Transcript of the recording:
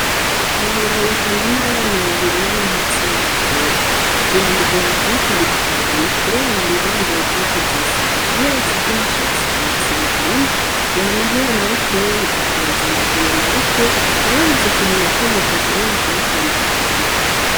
Kabura yigana n'abana babiri b'amahasi b'abakobwa biramugora kubatandukanya, kubera bama bambaye impozu zisa ni yobatsa ivy' imishatsi bayitsa ibirarimwe yamahura na butoyi akibaza ngo ahuye na bukuru yarabuze ikintu na kimwe coshobora kubatandukanya.